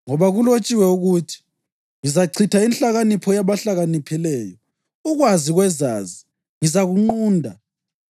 Ngoba kulotshiwe ukuthi: “Ngizachitha inhlakanipho yabahlakaniphileyo; ukwazi kwezazi ngizakunqunda.” + 1.19 U-Isaya 29.14